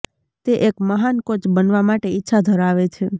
તે એક મહાન કોચ બનવા માટે ઇચ્છા ધરાવે છે